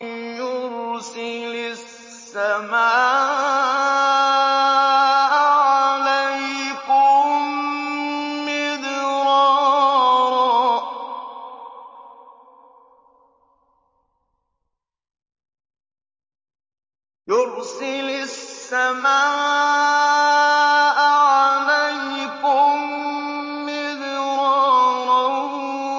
يُرْسِلِ السَّمَاءَ عَلَيْكُم مِّدْرَارًا